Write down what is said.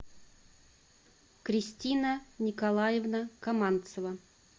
кристина николаевна каманцева